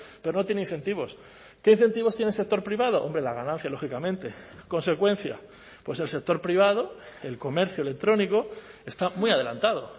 pero no tiene incentivos qué incentivos tiene el sector privado hombre la ganancia lógicamente consecuencia pues el sector privado el comercio electrónico está muy adelantado